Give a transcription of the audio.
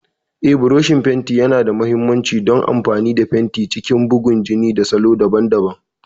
Eh, burushin fenti yana da mahimmanci don amfani da fenti a cikin bugun jini da salo daban-daban.